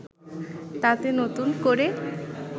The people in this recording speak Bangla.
তাতে নতুন করে